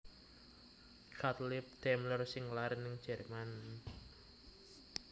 Gottlieb Daimler sing lair ning Jerman